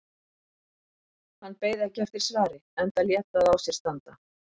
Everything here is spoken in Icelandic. Hann beið ekki eftir svari enda lét það á sér standa.